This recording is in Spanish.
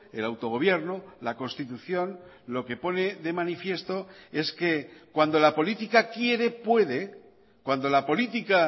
el autogobierno la constitución lo que pone de manifiesto es que cuando la política quiere puede cuando la política